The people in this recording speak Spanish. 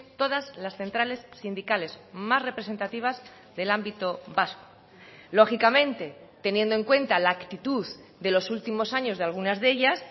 todas las centrales sindicales más representativas del ámbito vasco lógicamente teniendo en cuenta la actitud de los últimos años de algunas de ellas